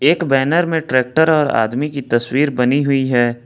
एक बैनर में ट्रैक्टर और आदमी की तस्वीर बनी हुई है।